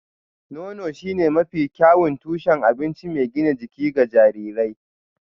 Nono shine mafi kyawun tushen abinci mai gina jiki ga jarirai